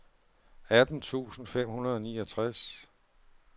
atten tusind fem hundrede og niogtres